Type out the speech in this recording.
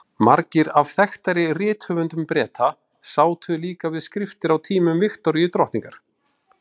Margir af þekktari rithöfundum Breta sátu líka við skriftir á tímum Viktoríu drottningar.